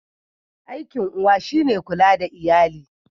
Aikin uwa shi ne kula da iyali.